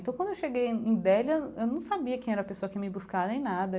Então quando eu cheguei em em Deli, eu eu não sabia quem era a pessoa que ia me buscar nem nada.